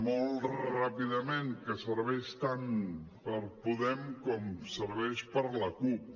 molt ràpidament que serveix tant per podem com serveix per a la cup